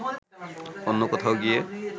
অন্য কোথাও গিয়ে